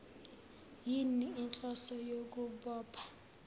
yini inhloso yokubopha